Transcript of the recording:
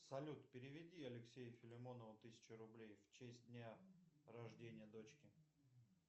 салют переведи алексею филимонову тысячу рублей в честь дня рождения дочки